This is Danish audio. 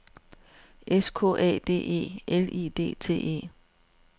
S K A D E L I D T E